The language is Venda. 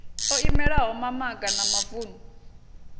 o imelaho mamaga na mavunu